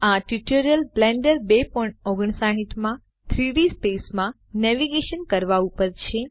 આ tutorial Blender 259 માં 3ડી સ્પેસ માં નેવિગેશન કરવા ઉપર છે